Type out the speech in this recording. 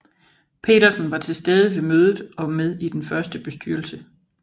Petersen var til stede ved mødet og med i den første bestyrelse